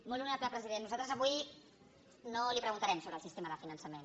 molt honorable president nosaltres avui no li preguntarem sobre el sistema de finançament